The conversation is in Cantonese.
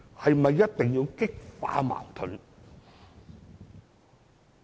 是否一定要激化矛盾？